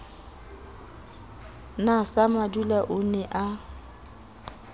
na samadula o ne a